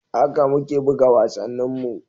Haka muke buga wasanninmu.